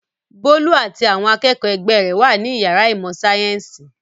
Bólú àti àwọn akẹ́kọ̀ọ́ ẹgbẹ́ rẹ̀ wà ní ìyàrá ìmọ̀-sáyẹ́ńsì.